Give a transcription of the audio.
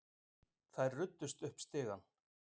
Þær ruddust upp stigann.